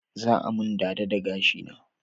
Za a mun dada da gashi na